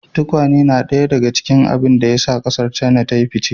Tukwane yana daya daga cikin abin da ya sa kasar China ta yi fice.